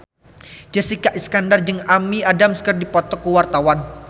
Jessica Iskandar jeung Amy Adams keur dipoto ku wartawan